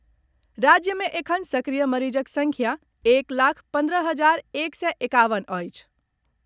राज्य मे एखन सक्रिय मरीजक संख्या एक लाख पन्द्रह हजार एक सय एकावन अछि।